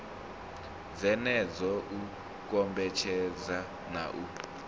dzenedzo u kombetshedza na u